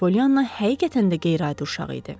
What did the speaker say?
Pollyana həqiqətən də qeyri-adi uşaq idi.